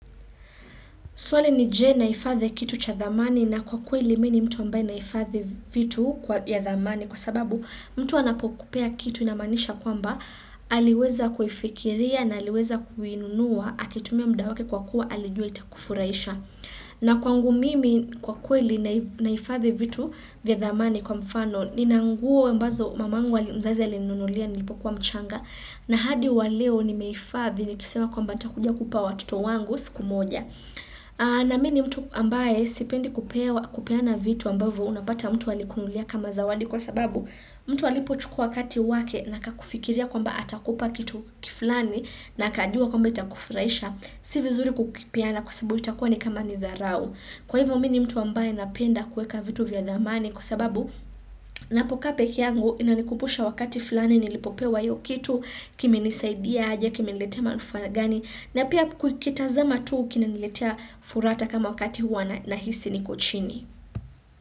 Swali ni je naifathi kitu cha dhamani na kwa kweli mimi mtu ambaye naifathi vitu ya dhamani kwa sababu mtu anapokupea kitu inamanisha kwamba aliweza kufikiria na aliweza kuinunua akitumia mda wake kwa kuwa alijua itakufuraisha. Na kwangu mimi kwa kweli naifathi vitu vya dhamani kwa mfano nina nguo ambazo mamangu mzazi alinunulia nilipokuwa mchanga na hadi waleo nimeifathi nikisema kwamba nitakuja kupa watoto wangu siku moja. Na mini mtu ambaye sipendi kupeana vitu ambavu unapata mtu alikununulia kama zawadi kwa sababu mtu alipochukua wakati wake na akakufikiria kwamba atakupa kitu kiflani na akajua kwamba itakufraisha. Si vizuri kukipeana kwa sababu itakua ni kama ni tharao. Kwa hivyo mini mtu ambaye napenda kueka vitu vya damani kwa sababu napoka peke yangu inanikumbusha wakati fulani nilipopewa hiyo kitu kimenisaidia aje kimeniletea manufaa gani na pia kuitazama tu kinaniletea fura hata kama wakati wana nahisi niko chini.